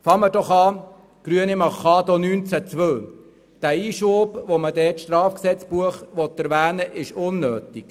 Zuerst zum Antrag der Grünen zu Artikel 19 Absatz 2: Der Einschub, mit dem das Strafgesetzbuch erwähnt werden soll, ist unnötig.